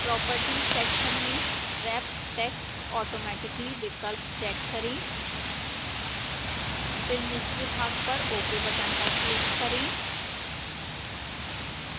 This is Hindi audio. properties section में wrap text automatically विकल्प check करें फिर निचले भाग पर ok बटन पर क्लिक करें